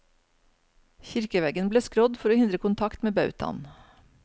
Kirkeveggen ble skrådd for å hindre kontakt med bautaen.